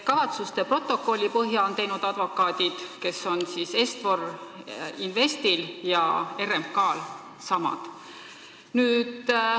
Kavatsuste protokolli põhja on teinud advokaadid, kes on Est-For Investil ja RMK-l samad.